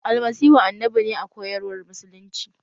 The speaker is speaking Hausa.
Almasihu annabi ne a koyar war musulunci